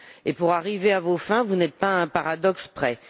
Et pour arriver à vos fins, vous n'êtes pas à un paradoxe près.